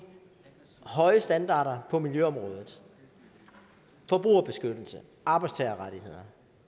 høje standarder på miljøområdet forbrugerbeskyttelse arbejdstagerrettigheder